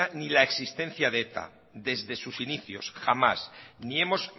ni la existencia de eta desde sus inicios jamás ni hemos